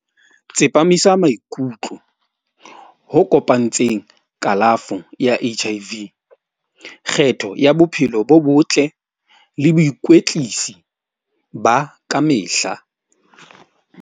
Tsepamisa maikutlo ho kopantseng kalafo ya H_I_V. Kgetho ya bophelo bo botle le boikwetlisi ba kamehla.